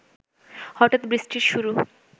হঠাৎ বৃষ্টির শুরু